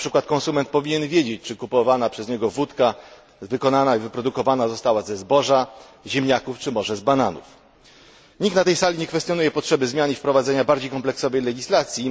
Konsument powinien wiedzieć, czy kupowana przez niego wódka wykonana i wyprodukowana została ze zboża, ziemniaków czy może z bananów. Nikt na tej sali nie kwestionuje potrzeby zmian i wprowadzenia bardziej kompleksowej legislacji.